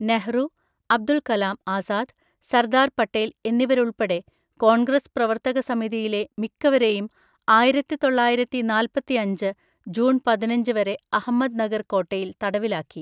നെഹ്‌റു, അബ്ദുൾ കലാം ആസാദ്, സർദാർ പട്ടേൽ എന്നിവരുൾപ്പെടെ കോൺഗ്രസ് പ്രവർത്തക സമിതിയിലെ മിക്കവരെയും ആയിരത്തിതൊള്ളയിരത്തിനാൽപതിഅഞ്ച് ജൂൺ പതിനഞ്ച് വരെ അഹമ്മദ്‌നഗർ കോട്ടയിൽ തടവിലാക്കി.